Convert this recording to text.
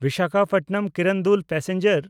Visakhapatnam Kirandul passenger